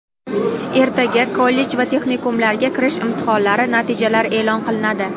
Ertaga kollej va texnikumlarga kirish imtihonlari natijalari eʼlon qilinadi.